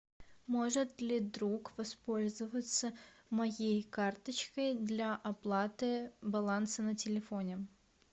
может ли друг воспользоваться моей карточкой для оплаты баланса на телефоне